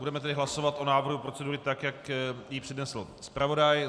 Budeme tedy hlasovat o návrhu procedury, tak jak ji přednesl zpravodaj.